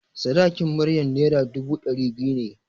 Sadakin Maryam Naira dubu ɗari biyu ne.